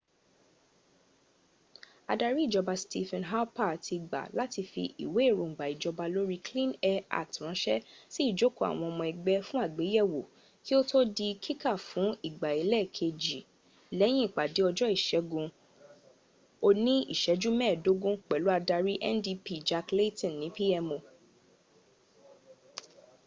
adari ijọba stephen harper ti gba lati fi iwe erongba ijọba lori clean air act ranṣẹ si ijoko awon ọmọ ẹgbẹ fun agbeyẹwo ki oto di kika fun igba elekeji lọyin ipade ọjọ iṣẹgun oni iṣẹju mẹẹdọgbọn pẹlu adari ndp jack layton ni pmo